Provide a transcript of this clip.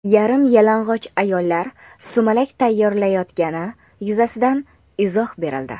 Yarim-yalang‘och ayollar sumalak tayyorlayotgani yuzasidan izoh berildi.